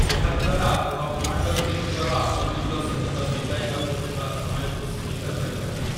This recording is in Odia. ଏହା ଦ୍ୱାରା ଆପଣ ଆଟର୍ଣ୍ଣିଙ୍କର ଆପଣଙ୍କ ସହିତ ବିତାଇବାକୁ ଥିବା ସମୟକୁ ସୀମିତ କରିପାରିବେ ।